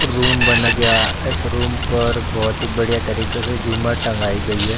Room बन गया इस रूम पर बहुत ही बढ़िया तरीके से झूमर टँगाई गई है।